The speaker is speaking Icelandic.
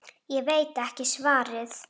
Ég veit ekki svarið.